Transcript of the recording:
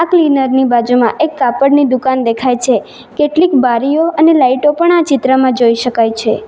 Cleaner ની બાજુમાં એક કાપડની દુકાન દેખાય છે કેટલીક બારીઓ અને લાઈટો પણ આ ચિત્રમાં જોઈ શકાય છે.